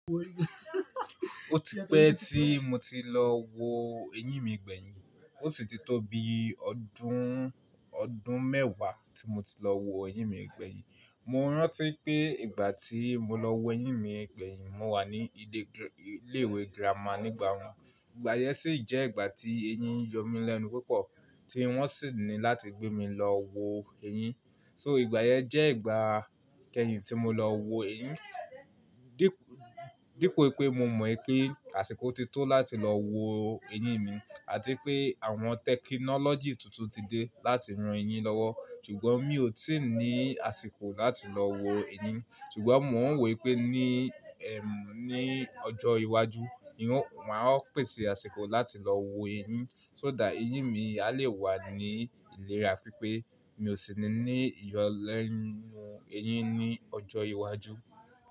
Ó ti pẹ́ tí mo ti lọ wo ẹyín mi gbẹ̀yìn, ó sì ti tó bi ọdún, ọdún mẹ́wàá tí mo ti lọ wo ẹyín mi gbẹ̀yìn. Mo rántí pé ìgbà tí mo lọ wo ẹyín mi gbẹ̀yìn, mo wà ní ilé ìwé girama nígbà náà. Ìgbà yẹn sì jẹ́ ìgbà tí eyín yọ mí lẹ́nu púpọ̀ tí wọ́n sì ní láti gbé mi lọ wo ẹyín. So ìgbà yẹn jẹ́ ìgbà kẹ́yìn tí mo lọ wo ẹyín. Dípo wipé mo mọ̀ wipé àsìkò ti tó láti lọ wo ẹyín mi àti pé àwọn tẹkinọ́lọ́jì tuntun ti dé láti ran ẹyín lọ́wọ́, ṣùgbọ́n mi ò tiì ní àsìkò láti lọ wo ẹyín. Ṣùgbọ́n mo ń wo wipé ní, ẹm, ní ọjọ́ iwájú, maá pèsè àsìkò láti lọ wo ẹyín. So dá ẹyín mi a lè wà ní ìlera pipé mi ò sì ní nii ìyọlẹ́nu ẹyín ní ọjọ́ iwájú.